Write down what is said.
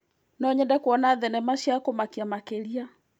No nyende kuona thenema cia kũmakia makĩria.